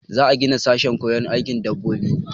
Za a gina sashen koyon aikin dabbobi.